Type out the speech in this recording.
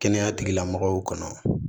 Kɛnɛya tigilamɔgɔw kɔnɔ